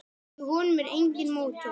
Í honum er enginn mótor.